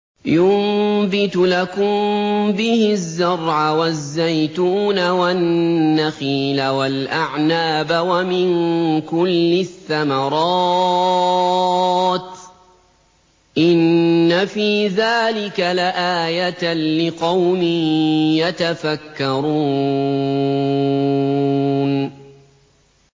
يُنبِتُ لَكُم بِهِ الزَّرْعَ وَالزَّيْتُونَ وَالنَّخِيلَ وَالْأَعْنَابَ وَمِن كُلِّ الثَّمَرَاتِ ۗ إِنَّ فِي ذَٰلِكَ لَآيَةً لِّقَوْمٍ يَتَفَكَّرُونَ